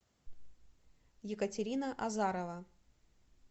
екатерина азарова